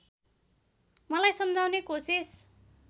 मलाई सम्झाउने कोसिस